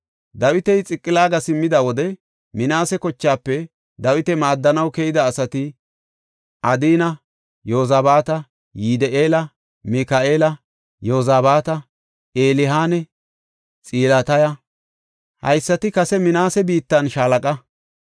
Dawiti Xiqilaaga simmida wode Minaase kochaafe Dawita maaddanaw keyida asati Adina, Yozabaata, Yidi7eela, Mika7eela, Yozabaata, Elihanne Xiltaya. Haysati kase Minaase biittan shaalaqa.